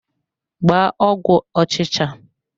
Gbaa ọgwụ ọchịcha!